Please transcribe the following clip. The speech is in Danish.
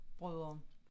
Brødre